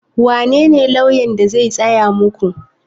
Wanene lauyan da zai tsaya muku?